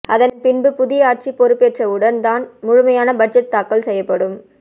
அதன்பின்பு புதிய ஆட்சி பொறுப்பேற்றவுடன் தான் முழுமையான பட்ஜெட் தாக்கல் செய்யப்படும்